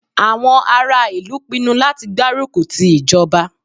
Àwọn ará ìlú pinnu láti gbárùkù ti ìjọba.